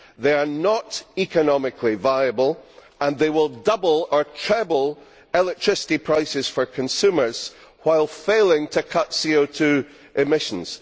They are not economically viable and they will double or treble electricity prices for consumers while failing to cut CO 2 emissions.